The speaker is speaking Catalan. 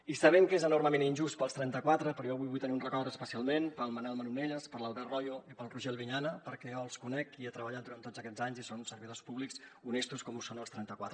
i sabem que és enormement injust per als trenta quatre però jo avui vull tenir un record especialment pel manel manonelles per l’albert royo i pel roger albinyana perquè jo els conec i hi he treballat durant tots aquests anys i són servidors públics honestos com ho són els trenta quatre